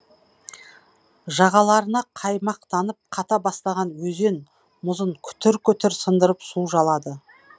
жағаларына қаймақтанып қата бастаған өзен мұзын күтір күтір сындырып су жалады